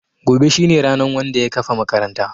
Gobe shine ranan Wanda ya kafa makaranta.